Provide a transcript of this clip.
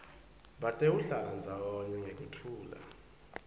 batewuhlala ndzawonye ngekuthula